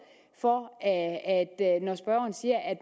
når spørgeren siger at